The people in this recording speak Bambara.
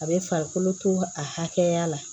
A bɛ farikolo to akɛya la